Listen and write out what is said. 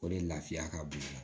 O de lafiya ka bon i la